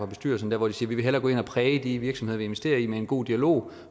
bestyrelse hvor de siger vi vil hellere gå ind og præge de virksomheder vi investerer i med en god dialog